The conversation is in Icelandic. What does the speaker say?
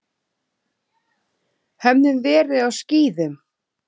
Höfðum verið á skíðum.